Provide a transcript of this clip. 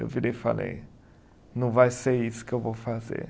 Eu virei e falei, não vai ser isso que eu vou fazer.